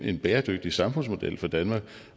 en bæredygtig samfundsmodel for danmark